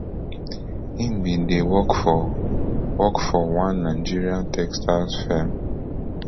im bin dey work for work for one nigerian textiles firm